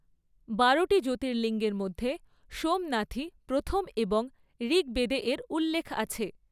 বারোটি জ্যোতির্লিঙ্গের মধ্যে সোমনাথই প্রথম এবং ঋগ্বেদে এর উল্লেখ আছে।